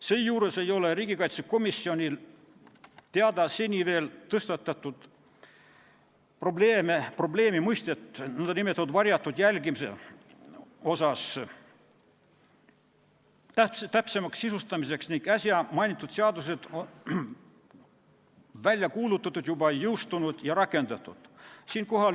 Seejuures ei ole riigikaitsekomisjoni teada seni veel tõstatatud probleemi, et nn varjatud jälgimise mõistet täpsemalt sisustataks, ning äsja mainitud seadused on juba välja kuulutatud, jõustunud ja rakendatud.